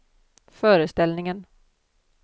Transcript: föreställningen